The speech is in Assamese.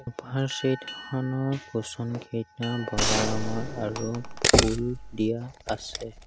ছোফা ৰ ছেট খনৰ কুচনকেইটা বগা ৰঙৰ আৰু ফুল দিয়া আছে।